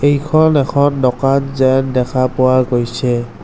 ইখন এখন দোকান যেন দেখা পোৱা গৈছে।